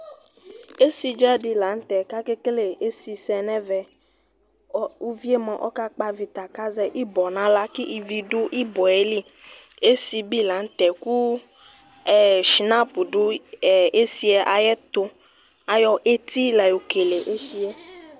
esidza di laŋtɛ ka kekele esisɛ nɛvɛ uvie mua ɔka kpavita kazɛ ibɔ naɣrla ku ivi du ibɔ yeli esi bi laŋtɛ ku shinaps du esiyɛ ayɛtu ayɔ eti layokele esiyɛ